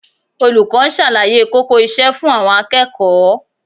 Olùkọ́ ń ṣàlàyé kókó iṣẹ́ fún àwọn akẹ́kọ̀ọ́